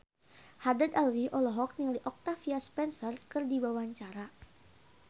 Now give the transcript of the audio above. Haddad Alwi olohok ningali Octavia Spencer keur diwawancara